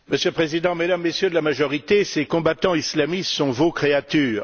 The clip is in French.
Monsieur le Président, Mesdames et Messieurs de la majorité, ces combattants islamistes sont vos créatures.